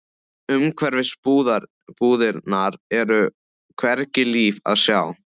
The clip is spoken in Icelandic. Umhverfis búðirnar er hvergi líf að sjá.